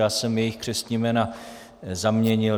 Já jsem jejich křestní jména zaměnil.